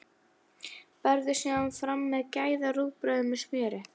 Berðu síðan fram með gæða-rúgbrauði með smjöri.